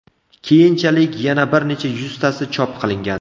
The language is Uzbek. Keyinchalik yana bir necha yuztasi chop qilingan.